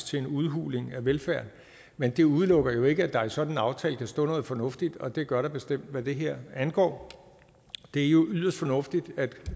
til en udhuling af velfærden men det udelukker ikke at der i sådan en aftale kan stå noget fornuftigt og det gør der bestemt hvad det her angår det er jo yderst fornuftigt at